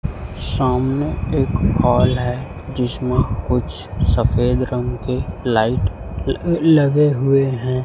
सामने एक हॉल है जिसमें कुछ सफेद रंग के लाइट ल लगे हुए हैं।